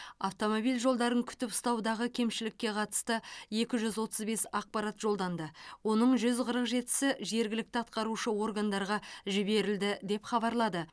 автомобиль жолдарын күтіп ұстаудағы кемшілікке қатысты екі жүз отыз бес ақпарат жолданды оның жүз қырық жетісі жергілікті атқарушы органдарға жіберілді деп хабарлады